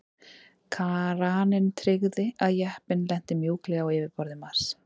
Kraninn tryggði að jeppinn lenti mjúklega á yfirborði Mars.